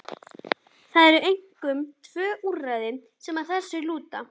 Það eru einkum tvö úrræði sem að þessu lúta.